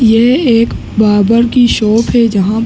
यह एक बार्बर कि शॉप है। जहाँ --